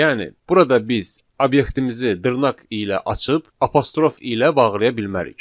Yəni burada biz obyektimizi dırnaq ilə açıb, apostrof ilə bağlaya bilmərik.